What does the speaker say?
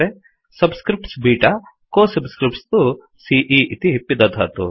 subscripts बेत को सब्स्क्रिफ्ट्स् तु सीई इति पिदधातु